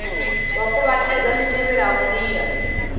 wa kuvhatedza li tevhelaho ndila